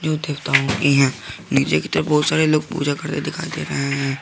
नीचे की तरफ बहुत सारे लोग पूजा करते दिखाई दे रहे हैं।